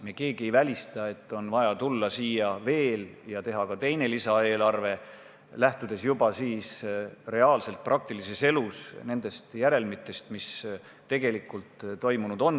Me keegi ei välista, et on vaja siia veel tulla ja teha ka teine lisaeelarve, lähtudes juba praktilises elus järelmitest, mis tegelikult toimunud on.